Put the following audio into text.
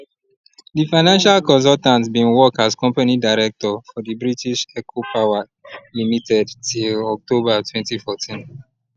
di financial consultant bin work as company director for di british eco power limited till october 2014